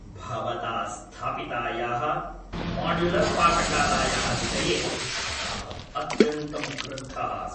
भवता स्थापितायाः माड्युलर्पाकशालायाः विषये अहं अत्यन्तं क्रुद्धः अस्मि।